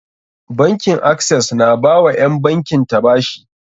Bankin Access na ba wa ƴan bankin ta bashi.